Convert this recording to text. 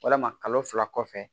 Walama kalo fila kɔfɛ